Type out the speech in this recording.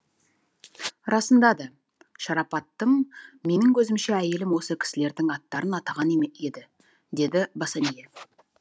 расында да шарапаттым менің көзімше әйелім осы кісілердің аттарын атаған еді деді босанье